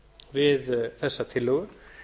við þessa tillögu